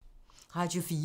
Radio 4